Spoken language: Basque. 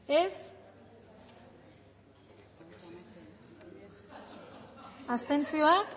dezakegu bozketaren emaitza onako